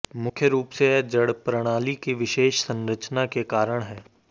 मुख्य रूप से यह जड़ प्रणाली की विशेष संरचना के कारण है